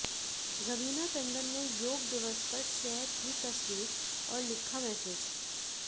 रवीना टंडन ने योग दिवस पर शेयर की तस्वीर और लिखा मैसेज